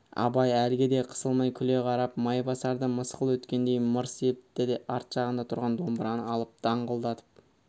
абай әлгі де қысылмай күле қарап майбасарды мысқыл еткендей мырс етті де арт жағында тұрған домбыраны алып даңғылдатып